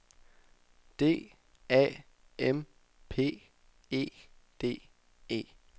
D A M P E D E